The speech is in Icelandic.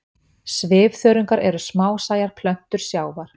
Svifþörungar eru smásæjar plöntur sjávar.